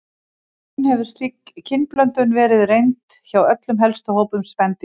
Í raun hefur slík kynblöndun verið reynd hjá öllum helstu hópum spendýra.